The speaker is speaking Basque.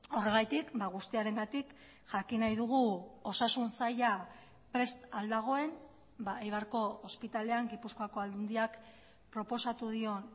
horregatik guztiarengatik jakin nahi dugu osasun saila prest al dagoen eibarko ospitalean gipuzkoako aldundiak proposatu dion